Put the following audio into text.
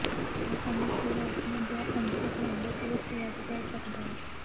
ਇਹ ਸਮਝ ਦੀ ਰੌਸ਼ਨੀ ਜ ਅੰਸ਼ਕ ਰੰਗਤ ਵਿੱਚ ਵਧ ਕਰ ਸਕਦਾ ਹੈ